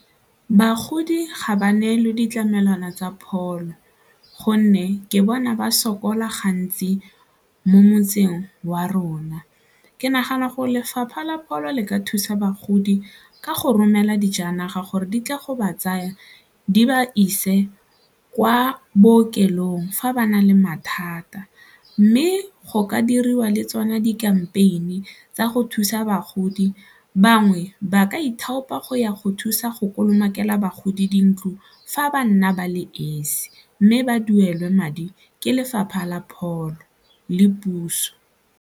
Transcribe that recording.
Bagodi ga ba neelwe ditlamelwana tsa pholo gonne ke bona ba sokola gantsi mo motseng wa rona. Ke nagana go lefapha la pholo le ka thusa bagodi ka go romela dijanaga gore di tla go ba tsaya di ba ise kwa bookelong fa ba na le mathata mme go ka diriwa le tsona di gama pin tsa go thusa bagodi, bangwe ba ka ithaopang go ya go thusa go kolomake la bagodi dintlo fa ba nna ba le esi mme ba duele madi ke lefapha la pholo le puso.